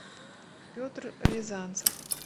петр рязанцев